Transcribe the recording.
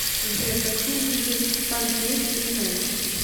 сбер какие виды панкейк ты знаешь